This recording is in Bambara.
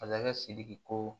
Masakɛ sidiki ko